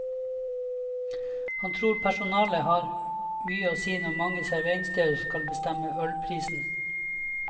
Han tror personalet har mye å si når mange serveringssteder skal bestemme ølprisene.